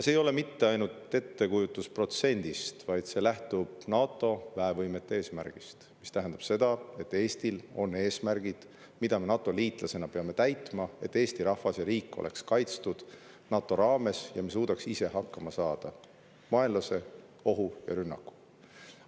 See ei ole mitte ainult ettekujutus protsendist, vaid see lähtub NATO väevõimete eesmärgist, mis tähendab seda, et Eestil on eesmärgid, mida me NATO-liitlasena peame täitma, et Eesti rahvas ja riik oleksid kaitstud NATO raames ja me suudaksime ise hakkama saada ohu ja vaenlase rünnakuga.